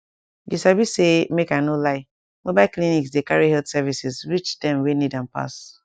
you sabi say make i no lie mobile clinics dey carry health services reach dem wey need am pass